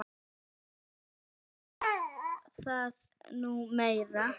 Ekki var það nú meira.